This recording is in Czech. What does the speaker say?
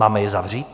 Máme je zavřít?